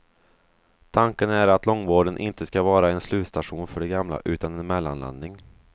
Tanken är att långvården inte ska vara en slutstation för de gamla utan en mellanlandning.